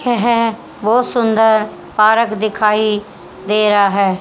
है है बहोत सुंदर पारक दिखाई दे रहा है।